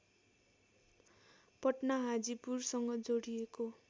पटना हाजिपुरसँग जोडिएको